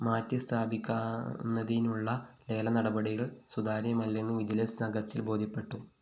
മാറ്റി സ്ഥാപിക്കുന്നതിനുള്ള ലേല നടപടികള്‍ സുതാര്യമല്ലെന്നും വിജിലൻസ്‌ സംഘത്തിന് ബോധ്യപ്പെട്ടു